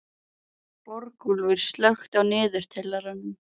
Borgúlfur, slökktu á niðurteljaranum.